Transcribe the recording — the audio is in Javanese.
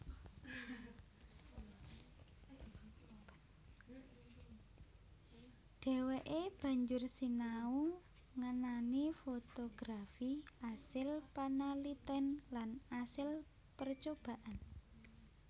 Dheweke banjur sinau ngenani fotografi asil panaliten lan asil percobaan